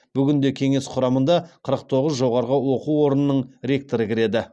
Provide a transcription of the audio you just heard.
бүгінде кеңес құрамында қырық тоғыз жоғарғы оқу орынының ректоры кіреді